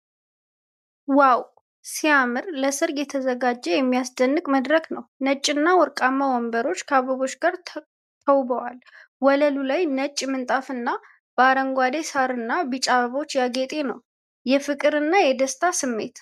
ው ሲያምር! ለሠርግ የተዘጋጀ የሚያስደንቅ መድረክ ነው። ነጭና ወርቃማ ወንበሮች ከአበቦች ጋር ተውበዋል። ወለሉ ላይ ነጭ ምንጣፍና በአረንጓዴ ሣርና ቢጫ አበቦች ያጌጠ ነው። የፍቅርና የደስታ ስሜት!